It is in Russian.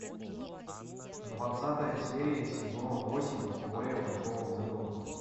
двадцатая серия сезона восемь теория большого взрыва